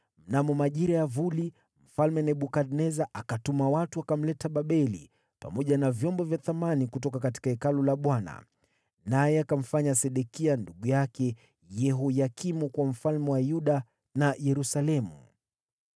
Mnamo majira ya vuli, Mfalme Nebukadneza akatuma watu, nao wakamleta Babeli, pamoja na vyombo vya thamani kutoka Hekalu la Bwana . Naye akamfanya Sedekia, ndugu yake Yehoyakimu kuwa mfalme wa Yuda na Yerusalemu.